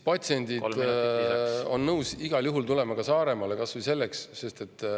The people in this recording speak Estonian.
… patsiendid on nõus igal juhul tulema ka Saaremaale.